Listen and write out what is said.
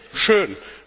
Das ist schön.